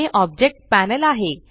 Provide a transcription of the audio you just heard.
हे object panel आहे